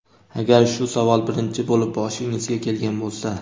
agar shu savol birinchi bo‘lib boshingizga kelgan bo‘lsa.